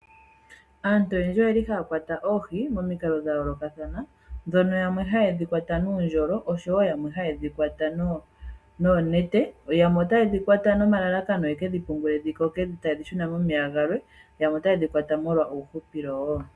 Aantu oyendji oyeli haya kwata oohi momikalo dha yoolokathana, ndhono yamwe haye dhi kwata nuundjolo, osho wo yamwe haye dhi kwata noonete. Yamwe otaye dhi kwata noma lalakano ye kedhi pungule dhi koke taye dhi shuna momeya galwe, yamwe otaye dhi kwata molwa uuhupilo woo.